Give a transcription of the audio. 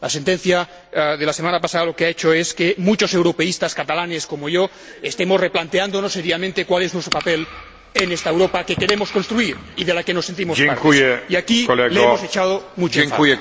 La sentencia de la semana pasada lo que ha hecho es que muchos europeístas catalanes, como yo, estemos replanteándonos seriamente cuál es nuestro papel en esta Europa que queremos construir y de la que nos sentimos parte, y aquí le hemos echado mucho en falta.